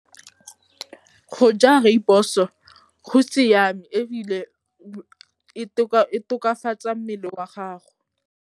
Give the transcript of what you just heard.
Go ja rooibos-o go siame ebile e tokafatsa mmele wa gago.